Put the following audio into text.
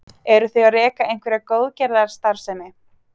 Eru þau að reka einhverja góðgerðastarfsemi?